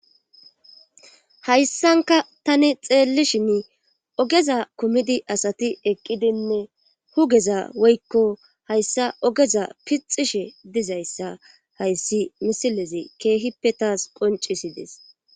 Hayssankka tani xeeelishini ogeza kumidi asati eqqidinne hugeza woykko hayssa ogeza pixxishe dizayssa hayssi misilezi keehippe taas qonccisisdes.